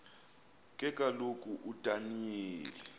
ke kaloku udaniyeli